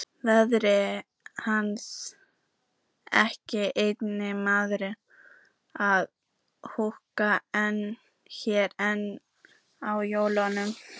Verður hann ekki einmana að húka hérna einn á jólunum?